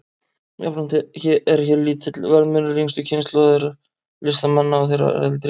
Jafnframt er hér lítill verðmunur yngstu kynslóðar listamanna og þeirrar eldri.